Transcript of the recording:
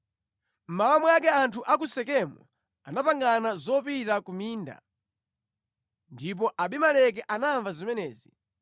Mmawa mwake anthu a ku Sekemu anapangana zopita ku minda, ndipo Abimeleki anamva zimenezi.